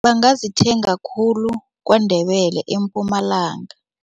Bangazithenga khulu KwaNdebele eMpumalanga.